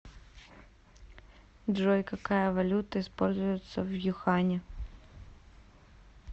джой какая валюта используется в юхане